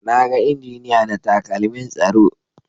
Na ga injiniya da takalmin tsaro.